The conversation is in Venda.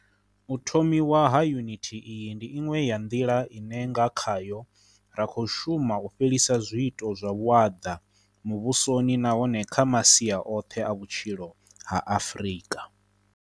U thomiwa ha yunithi iyi ndi iṅwe ya nḓila ine nga khayo ra khou shuma u fhelisa zwiito zwa vhuaḓa muvhusoni nahone kha masia oṱhe a vhutshilo ha Afrika